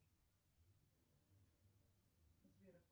сбер